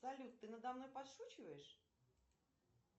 салют ты надо мной подшучиваешь